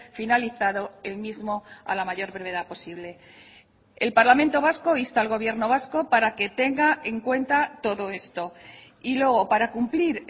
finalizado el mismo a la mayor brevedad posible el parlamento vasco insta al gobierno vasco para que tenga en cuenta todo esto y luego para cumplir